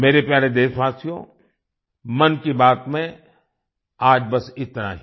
मेरे प्यारे देशवासियो मन की बात में आज बस इतना ही